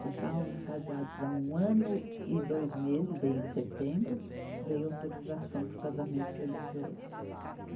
Já estávamos casados há um ano e dois meses, veio em setembro, veio autorização para o casamento religioso.